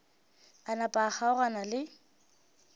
a napa a kgaogana le